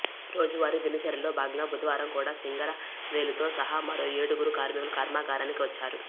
రోజువారీ దినచర్యలో భాగంగా బుధవారం కూడా సింగారవేలుతో సహా మరో ఏడుగురు కార్మికులు కర్మాగారానికి వచ్చారు